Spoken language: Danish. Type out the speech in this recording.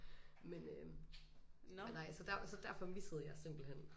Men øh nej så der så derfor missede jeg simpelthen